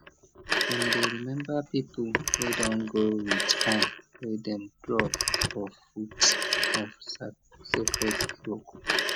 dem dey remember people wey don go with corn wey dem drop for foot of sacred iroko